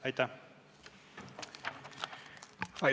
Aitäh!